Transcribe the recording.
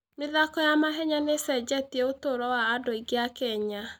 mĩthako ya mahenya nĩ ĩcenjetie ũtũũro wa andũ aingĩ a Kenya.